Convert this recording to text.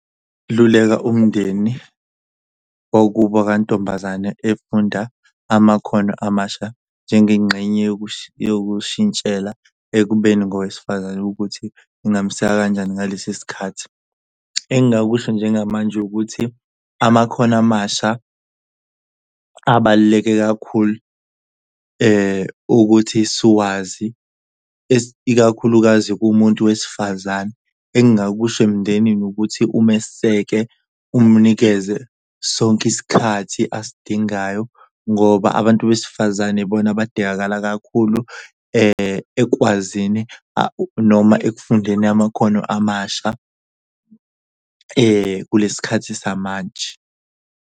Luleka umndeni wakubo kantombazane efunda amakhono amasha njengengxenye yokushintshela ekubeni ngowesifazane ukuthi ingamseka kanjani ngalesi sikhathi. Engakusho njengamanje ukuthi amakhono amasha abaluleke kakhulu ukuthi siwazi ikakhulukazi kumuntu wesifazane, engingakusho emndenini ukuthi umeseke umnikeze sonke isikhathi asidingayo. Ngoba abantu besifazane ibona abadingakala kakhulu ekukwazini noma ekufundeni amakhono amasha kulesi sikhathi samanje.